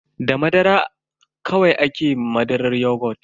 Da madara da kwai ake madarar yogut.